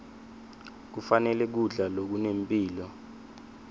kufanele kudla lokunempilo